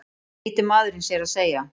flýtir maðurinn sér að segja.